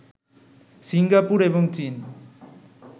Singapore এবং চীন